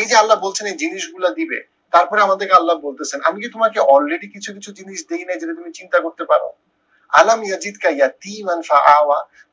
এই যে আল্লা বলছেন এই জিনিস গুলা দিবে, তারপর আমাদেরকে আল্লা বলতেসেন আমি কি তোমাকে already কিছু কিছু জিনিস দেই না যেটা তুমি চিন্তা করতে পারো।